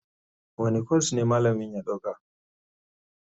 Wane kwas ne malamin ya ɗauka?